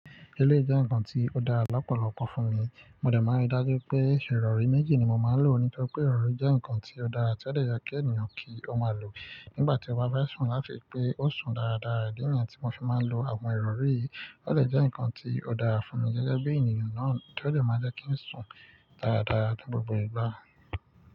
Eleyi jẹ́ nǹkan tí ó dára lọ́pọ̀lọpọ̀ fún mi. Mo dẹ̀ máa n rí dájú pé ìrọ̀rí méjì ni mo máa lò ní tori pé ìrọ̀rí jẹ́ nǹkan tí ó dára tí ó dẹ yẹ kí ènìyàn kí ó máa lò nígbà tí ó bá fẹ́ sùn láti pé ó sùn dáradára. Ìdí niyi tí mo fi máa ń lo àwọn ìrọ̀rí yìí ó dẹ jẹ́ nǹkan tí ó dára fún mi gẹ́gẹ́ bí ènìyàn náà tí ó dẹ máa n jẹ́ kí n sùn dáradára ní gbogbo ìgbà.